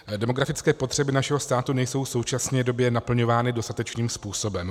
Demografické potřeby našeho státu nejsou v současné době naplňovány dostatečným způsobem.